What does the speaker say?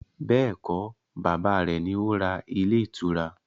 Bẹ́ẹ̀kọ́, bàbá rẹ̀ ni ó ra ilé ìtura